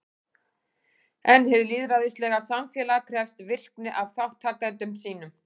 En hið lýðræðislega samfélag krefst virkni af þátttakendum sínum.